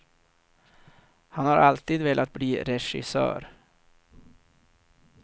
Han har alltid velat bli regissör.